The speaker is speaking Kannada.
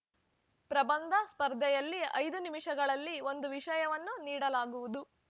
ಪ್ರಬಂಧ ಸ್ಪರ್ಧೆಯಲ್ಲಿ ಐದು ವಿಷಯಗಳಲ್ಲಿ ಒಂದು ವಿಷಯವನ್ನು ನೀಡಲಾಗುವುದು